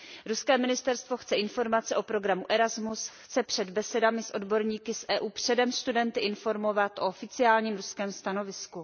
Ruské ministerstvo chce informace o programu Erasmus, chce před besedami s odborníky z Evropské unie předem studenty informovat o oficiálním ruském stanovisku.